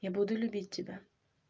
я буду любить тебя